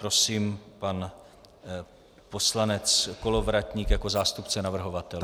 Prosím, pan poslanec Kolovratník jako zástupce navrhovatelů.